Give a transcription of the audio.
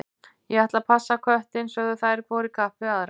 Ég ætla að passa köttinn, sögðu þær hvor í kapp við aðra.